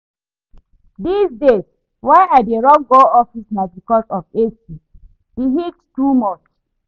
Dis days why I dey run go office na because of AC, the heat too much